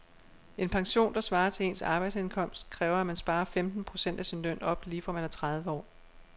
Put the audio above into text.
En pension, der svarer til ens arbejdsindkomst, kræver at man sparer femten procent af sin løn op lige fra man er tredive år.